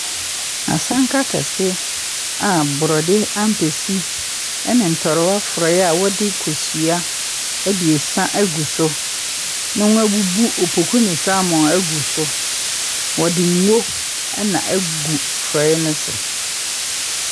Asanka kɛse a borɔde ampesi ne ntorowa forɔeɛ a wɔdze kosua abiesa agu so na wɔabubu opoku ne salmon agu so. Wɔde ngo na agu forɔeɛ no so.